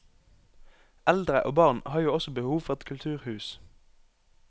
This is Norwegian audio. Eldre og barn har jo også behov for et kulturhus.